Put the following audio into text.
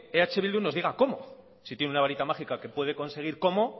eh bildu nos diga cómo si tiene una varita mágica que puede conseguir cómo